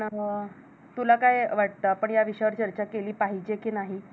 तुला काय वाटत? आपण या विषयावर चर्चा केली पाहिजे कि नाही?